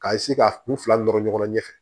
K'a ka kun fila nɔrɔ ɲɔgɔn na ɲɛfɛ